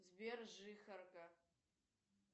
сбер жихарка